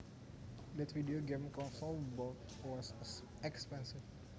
That video game console I bought was expensive